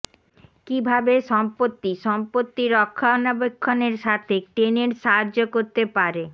কিভাবে সম্পত্তি সম্পত্তির রক্ষণাবেক্ষণের সাথে টেনেন্টস সাহায্য করতে পারে